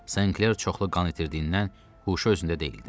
Senkler çoxlu qan itirdiyindən huşu özündə deyildi.